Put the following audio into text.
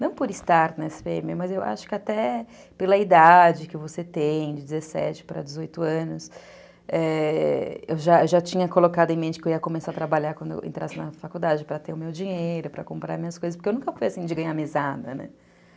Não por estar na esse pê eme, mas eu acho que até pela idade que você tem, de dezessete para dezoito anos, eu já tinha colocado em mente que eu ia começar a trabalhar quando eu entrasse na faculdade, para ter o meu dinheiro, para comprar minhas coisas, porque eu nunca fui assim de ganhar mesada, né?